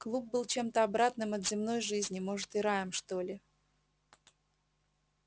клуб был чем-то обратным от земной жизни может и раем что ли